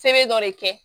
Sɛbɛn dɔ de kɛ